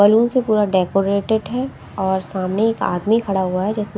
balloon से पूरा decorated है और सामने एक आदमी खड़ा हुआ है जिसने--